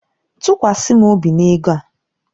Tụkwasị m obi na ego a.